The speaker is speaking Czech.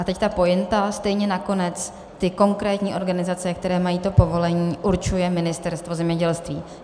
A teď ta pointa: stejně nakonec ty konkrétní organizace, které mají to povolení, určuje Ministerstvo zemědělství.